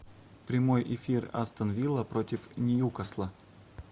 прямой эфир астон вилла против ньюкасла